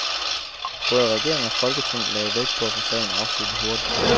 Både regering og folketing lagde vægt på at få sagen afsluttet hurtigt.